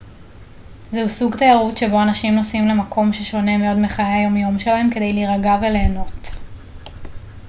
זהו סוג תיירות שבו אנשים נוסעים למקום ששונה מאוד מחיי היומיום שלהם כדי להירגע וליהנות